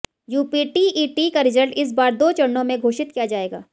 UP TET का result इस बार दो चरणों में घोषित किया जाएगा